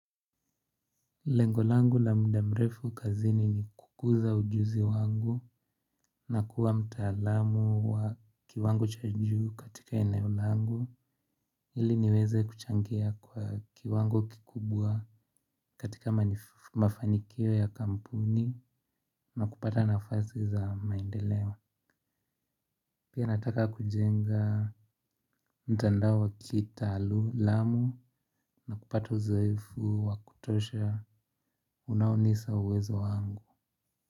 Lengo langu la muda mrefu kazini ni kukuza ujuzi wangu na kuwa mtaalam wa kiwango cha juu katika eneo langu ili niweze kuchangia kwa kiwango kikubwa katika mafanikio ya kampuni na kupata nafasi za maendeleo pia nataka kujenga mtandao wa kitaalam na kupata uzoefu wa kutosha unaonisa uwezo wangu.